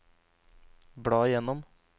bla gjennom